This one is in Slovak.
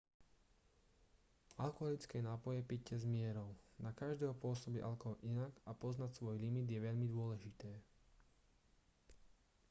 alkoholické nápoje pite s mierou na každého pôsobí alkohol inak a poznať svoj limit je veľmi dôležité